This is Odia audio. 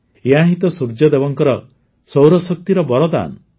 ଏହା ହିଁ ତ ସୂର୍ଯ୍ୟଦେବଙ୍କ ସୌରଶକ୍ତିର ବରଦାନ